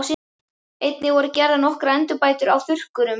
Einnig voru gerðar nokkrar endurbætur á þurrkurum.